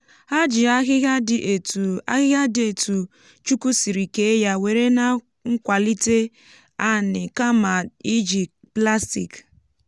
ha ji ahịhịa dị ètù ahịhịa dị ètù chúkwú sìrì kée ya were nà nkwàlítè te anì kama iji plastik